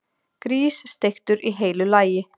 Grís, steiktur í heilu lagi!